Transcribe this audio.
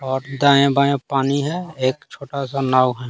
और दाएं बाएं पानी है एक छोटा सा नाव है।